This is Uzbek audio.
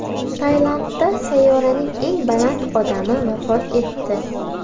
Tailandda sayyoraning eng baland odami vafot etdi.